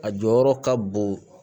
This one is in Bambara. A jɔyɔrɔ ka bon